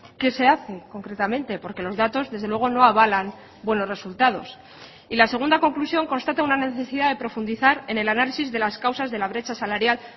qué se hace concretamente porque los datos desde luego no avalan buenos resultados y la segunda conclusión constata una necesidad de profundizar en el análisis de las causas de la brecha salarial